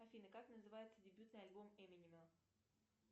афина как называется дебютный альбом эминема